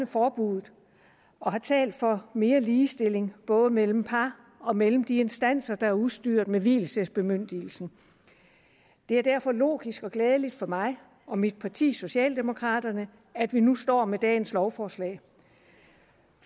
forbuddet og har talt for mere ligestilling både mellem par og mellem de instanser der er udstyret med vielsesbemyndigelsen det er derfor logisk og glædeligt for mig og mit parti socialdemokraterne at vi nu står med dagens lovforslag